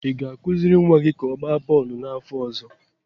ị ga-akụziri nwa gị ka ọ gbaa bọọlụ n'afọ ọzọ